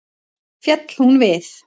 Féll hún við.